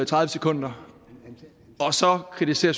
tredive sekunder og så kritiserer